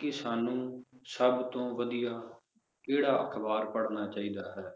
ਕਿ ਸਾਨੂੰ ਸਬ ਤੋਂ ਵਧੀਆ ਕਿਹੜਾ ਅਖਬਾਰ ਪੜ੍ਹਨਾ ਚਾਹੀਦਾ ਹੈ?